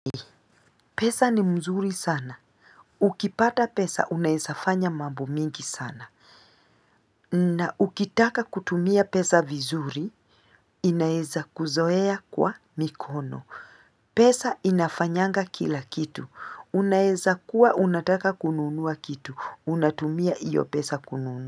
Pesa ni mzuri sana. Ukipata pesa unaezafanya mambo mingi sana. Na ukitaka kutumia pesa vizuri, inaeza kuzoea kwa mikono. Pesa inafanyanga kila kitu. Unaeza kuwa unataka kununua kitu. Unatumia iyo pesa kununuwa.